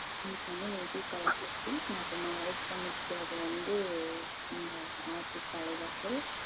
எனக்கு வந்து native கள்ளக்குறிச்சி நா இப்போ marriage பண்ணிக்கிட்டது வந்து இங்க ஆத்தூர் தலைவாசல்.